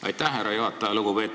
Aitäh, härra juhataja!